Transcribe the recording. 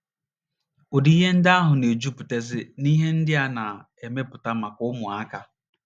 Ụdị ihe ndị ahụ na - ejupụtazi n’ihe ndị a na - emepụta maka ụmụaka.